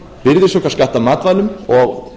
virðisaukaskatt af matvælum og